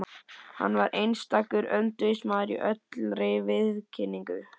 Hann var einstakur öndvegismaður í allri viðkynningu.